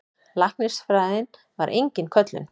Læknisfræðin var engin köllun.